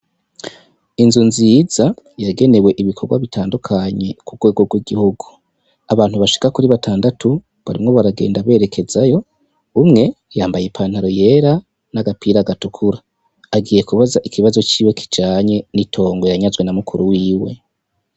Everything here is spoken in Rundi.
Inzu nziza yagenewe ibikorwa bitandukanye ku rwego rw'igihugu, abantu bashika kuri batandatu barimwo baragenda berekezayo, umwe yambaye ipantaro yera n'agapira gatukura agiye kubaza ikibazo ciwe kijanye n'itongo yanyazwe na mukuru wiwe.